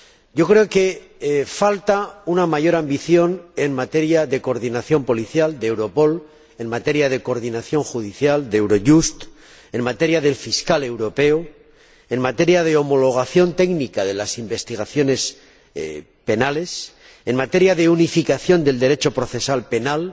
Yo creo que falta una mayor ambición en materia de coordinación policial —de Europol—, en materia de coordinación judicial —de Eurojust—, en relación con el Fiscal Europeo, en materia de homologación técnica de las investigaciones penales, en materia de unificación del Derecho procesal penal,